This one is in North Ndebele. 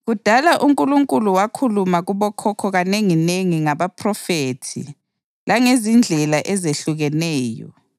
Kudala uNkulunkulu wakhuluma kubokhokho kanenginengi ngabaphrofethi langezindlela ezehlukeneyo